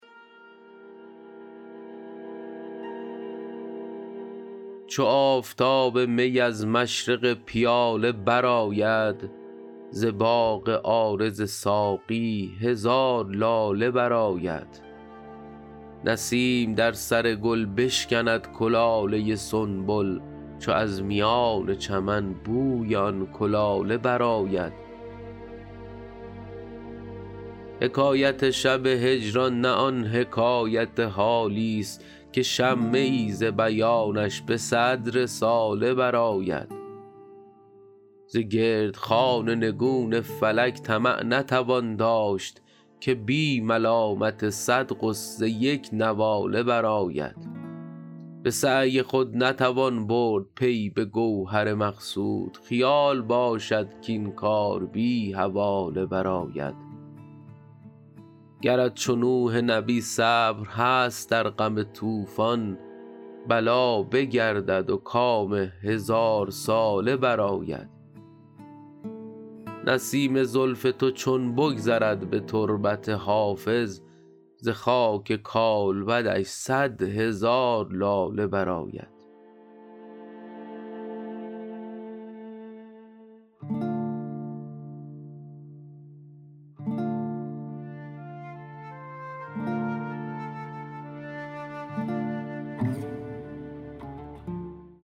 چو آفتاب می از مشرق پیاله برآید ز باغ عارض ساقی هزار لاله برآید نسیم در سر گل بشکند کلاله سنبل چو از میان چمن بوی آن کلاله برآید حکایت شب هجران نه آن حکایت حالیست که شمه ای ز بیانش به صد رساله برآید ز گرد خوان نگون فلک طمع نتوان داشت که بی ملالت صد غصه یک نواله برآید به سعی خود نتوان برد پی به گوهر مقصود خیال باشد کاین کار بی حواله برآید گرت چو نوح نبی صبر هست در غم طوفان بلا بگردد و کام هزارساله برآید نسیم زلف تو چون بگذرد به تربت حافظ ز خاک کالبدش صد هزار لاله برآید